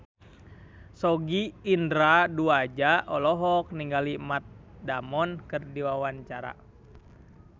Sogi Indra Duaja olohok ningali Matt Damon keur diwawancara